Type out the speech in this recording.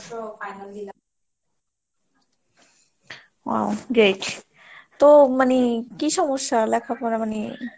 তো মানে কি সমস্যা লেখাপড়া মানে?